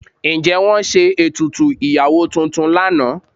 Ǹjẹ́ wọ́n ṣe ètùtù ìyàwó tuntun lánàá?